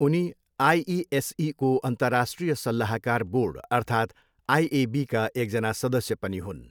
उनी आइइएसईको अन्तर्राष्ट्रिय सल्लाहकार बोर्ड अर्थात् आइएबीका एकजना सदस्य पनि हुन्।